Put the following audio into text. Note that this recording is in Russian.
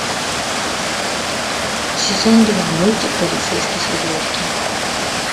сезон два мультик полицейский с рублевки